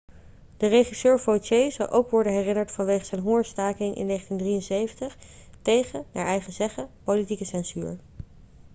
de regisseur vautier zal ook worden herinnerd vanwege zijn hongerstaking in 1973 tegen naar eigen zeggen politieke censuur